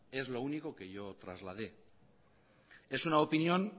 es lo único que yo trasladé es una opinión